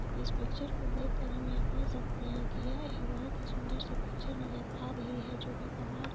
इस पिक्चर को देख के यह हम कह सकते है की यह एक बोहोत ही सुन्दर सी पिक्चर नजर आ रही है जोकि कमाल--